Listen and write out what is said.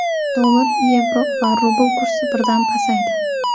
Dollar, yevro va rubl kursi birdan pasaydi.